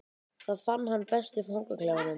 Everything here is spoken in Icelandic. Það fann hann best í fangaklefanum.